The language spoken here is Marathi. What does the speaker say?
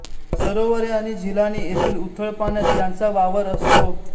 सरोवरे आणि झिलाणी येथील उथळ पाण्यात यांचा वावर असतो